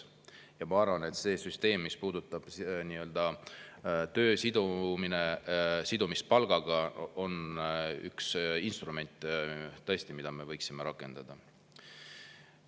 Ja ma arvan, et see süsteem, mis puudutab töö sidumist palgaga, on üks instrument, mida me võiksime rakendada.